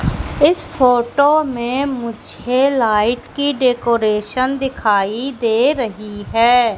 इस फोटो में मुझे लाइट की डेकोरेशन दिखाई दे रही है।